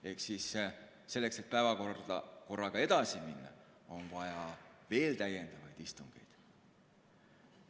Ehk selleks, et päevakorraga edasi minna, on vaja veel täiendavaid istungeid.